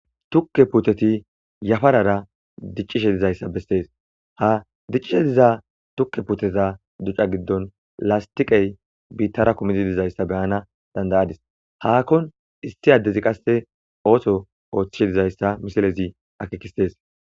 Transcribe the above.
Tukke putter yafarara dicishshe dizayisa besesi ha dicishshe diza tukke putteza giddoni lasitiqera gita puttey dizayisa beanas danidaadis hahoni issi adezi oththo ooththishe dizayisa misilezi akkekises